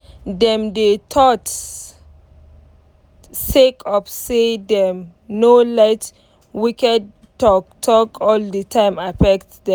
dem dey thought sake of say dem nor let wicked talk talk all d time affect dem